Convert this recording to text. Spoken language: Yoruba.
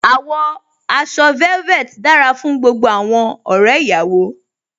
Àwọ̀ aṣọ velvet dára fún gbogbo àwọn ọ̀rẹ́ ìyàwó.